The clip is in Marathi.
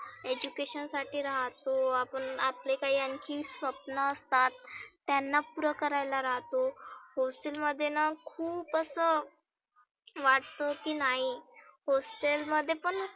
education साठी राहतो, आपण आपले काही आनखी स्वप्न असतात. त्यांना पुढंंकरायला राहतो hostel मध्येना खुप असं वाटतं की नाही hostel मध्ये पण